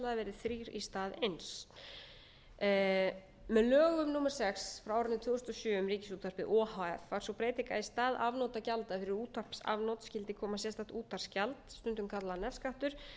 númer sex frá árinu tvö þúsund og sjö um ríkisútvarpið o h f varð sú breyting að í stað afnotagjalda fyrir útvarpsafnot skyld koma sérstakt útvarpsgjald stundum kallað nefskattur